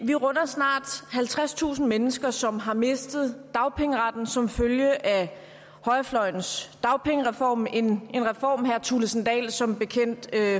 vi runder snart halvtredstusind mennesker som har mistet dagpengeretten som følge af højrefløjens dagpengereform en reform herre kristian thulesen dahl som bekendt